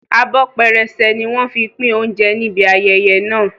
Abọ́ pẹrẹsẹ ni wọ́n fi pín oúnjẹ níbi ayẹyẹ náà